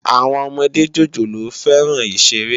Awòn òmòdé jójólóò fèrán iṣéré